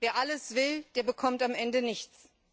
ist. Wer alles will, bekommt am Ende nichts.